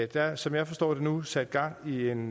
der er som jeg forstår det nu sat gang i en